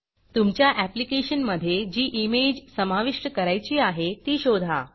तुमच्या ऍप्लीकेशनमधे जी इमेज समाविष्ट करायची आहे ती शोधा